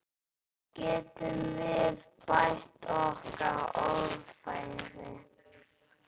Getum við bætt okkar orðfæri?